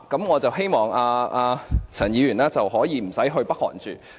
我希望陳議員暫時不用前往北韓。